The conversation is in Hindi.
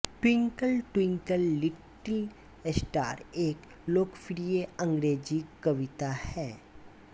ट्विंकल ट्विंकल लिटिल स्टार एक लोकप्रिय अंग्रेजी कविता है